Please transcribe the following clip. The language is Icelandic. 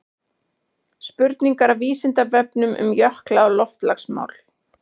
spurningar af vísindavefnum um jökla og loftslagsmál